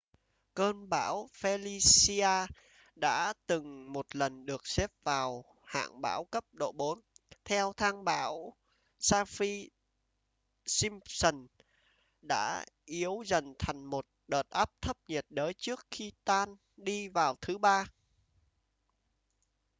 cơn bão felicia đã từng một lần được xếp vào hạng bão cấp độ 4 theo thang bão saffir-simpson đã yếu dần thành một đợt áp thấp nhiệt đới trước khi tan đi vào thứ ba